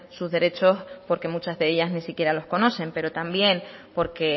sus derechos porque muchas de ellas ni siquiera las conocen pero también porque